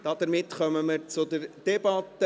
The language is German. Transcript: Damit kommen wir zur Debatte.